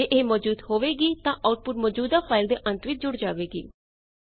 ਜੇ ਇਹ ਮੌਜੂਦ ਹੋਵੇਗੀ ਤਾਂ ਆਊਟਪੁਟ ਮੌਜੂਦਾ ਫਾਈਲ ਦੇ ਅੰਤ ਵਿੱਚ ਜੁੜ ਜਾਵੇਗੀ